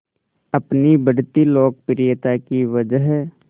अपनी बढ़ती लोकप्रियता की वजह